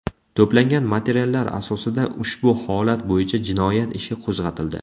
To‘plangan materiallar asosida ushbu holat bo‘yicha jinoyat ishi qo‘zg‘atildi.